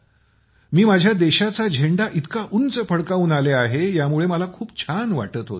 मी माझ्य़ा देशाचा झेंडा इतका उंच फडकवून आले आहे यामुळे मला खूप छान वाटत होतं